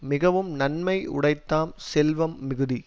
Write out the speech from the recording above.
மிகவும் நன்மை யுடைத்தாம் செல்வம் மிகுதி